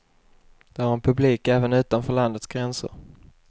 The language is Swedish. De har en publik även utanför landets gränser.